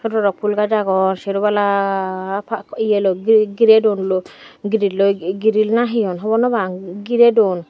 sodorok ful gas agon sero bala eya loi geray don gerel gerel na he hobor no pang geraydon.